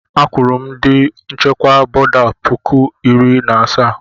Akwụru m ndị nchịkwa bọda puku iri asaa.